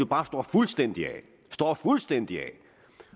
bare står fuldstændig af fuldstændig af